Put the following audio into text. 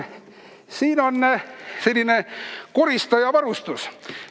Siin on selline koristaja varustus.